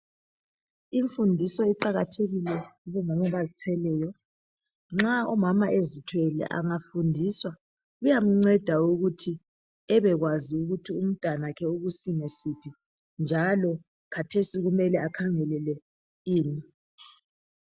Imfundiso iqakathekile kubomama abazithweleyo nxa umama ezithwele angafundiswa kuyamceda ukuthi ebekwazi ukuthi umntwana wakhe ukusimo siphi njalo khathesi kumele akhangelele ini.